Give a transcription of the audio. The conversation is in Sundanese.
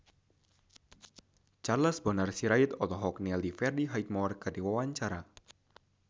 Charles Bonar Sirait olohok ningali Freddie Highmore keur diwawancara